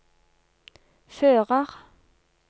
fører